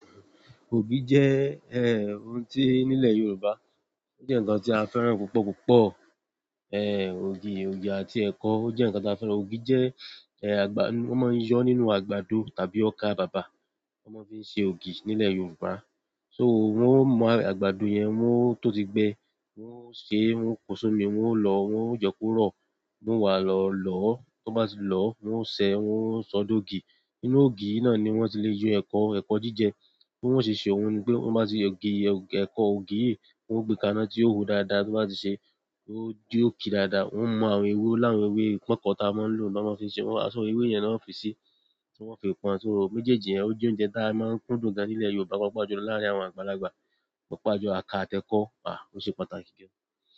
Ògì jẹ́, ohun tí nílẹ̀ Yorùbá, ó jẹ́ ǹkan tí a fẹ́ràn púpọ̀ púpọ̀. Ògì, ògì àti ẹ̀kọ, ó jẹ́ nǹkan tí a fẹ́ràn. Ògì jẹ́, àgbà, wọ́n máa ń yọ́ nínú àgbàdo tàbí ọkà bàbà, wọ́n máa ń fi ṣe ògì nílẹ̀ Yorùbá. So wọ́n ó mú àgbàdo yẹn, wọ́n tó ti gbẹ, wọ́n ó ṣe, wọ́n pó si omi, wọ́n ó lọ, wọ́n je kò rọ, wọn wá lọ lọ́. Tó bá ti lọ, wọ́n ó ṣẹ, wọ́n ó ṣọ́ dógi. Nínú ògì yí náà ni wọ́n ti lè yọ ẹ̀kọ, ẹ̀kọ jíjẹ. Bí wọ́n ṣe ṣe òun ni pé wọ́n bá ti ògì, ẹ̀kọ ògì yìí, wọ́n gbé ká iná tí ó hó dáadáa, tó bá ti ṣe, ó jo ki dáadáa, wọ́n mú àwọn ewé, ọ l'awọn ewé pọnkọ táa máa ń lò, to máa fi ṣe wọ́n. Aṣọ ewé yẹn ni wọ́n ó fi se tí wọ́n fi pọn. So méjèèjì yen ó jẹ́ oúnjẹ táa máa ń kún dùn gan nílẹ̀ Yorùbá, pàápàá jù lọ láàárín àwọn àgbàlagbà. Pàápàá jùlọ àkára àti ekọ́, ó ṣe pàtàkì gan.